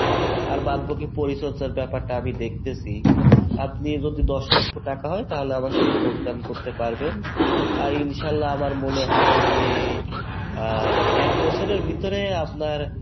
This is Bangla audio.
আর বাদ বাকি পরিচর্চার ব্যাপারটা আমি দেখতেছি আপনি এখন যদি দশ লক্ষ টাকা হয় তাহলে আমার সাথে যোগদান করতে পারবেন আর ইনশাআল্লাহ আমার মনে হয় যে আহ এক বছরের ভিতরে আপনার